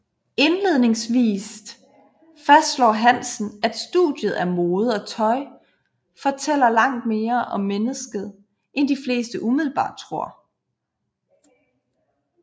Indledningsvist fastslår Hansen at studiet af mode og tøj fortæller langt mere om mennesket end de fleste umiddelbart tror